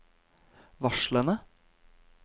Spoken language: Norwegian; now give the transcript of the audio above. varslene